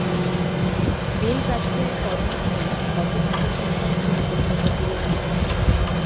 বেলগাছিয়ায় corona নিয়ে গত মাসে চিন্তায় ছিল কলকাতা পুরসভা